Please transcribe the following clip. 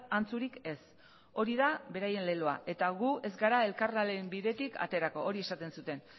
antzurik ez hori da beraien leloa eta gu ez gara elkarlanaren bidetik aterako hori esaten zuten